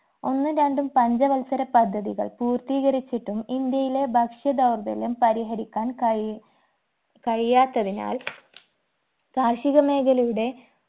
ഒന്നും രണ്ടും പഞ്ചവത്സര പദ്ധതികൾ പൂർത്തീകരിച്ചിട്ടും ഇന്ത്യയിലെ ഭക്ഷ്യ ധൗർബല്യം പരിഹരിക്കാൻ കഴി കഴിയാത്തതിനാൽ കാർഷികമേഖലയുടെ